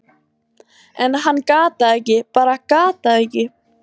en hann gat það ekki, bara gat það ekki.